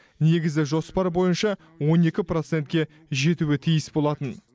негізі жоспар бойынша он екі процентке жетуі тиіс болатын